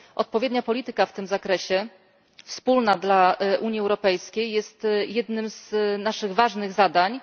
Odpowiednia polityka w tym zakresie, wspólna dla Unii Europejskiej, jest jednym z naszych ważnych zadań.